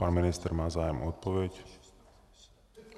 Pan ministr má zájem o odpověď.